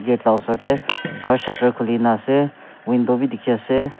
gate la osor tey aru shutter khulina ase window bi dikhi ase.